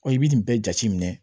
Ɔ i bɛ nin bɛɛ jate minɛ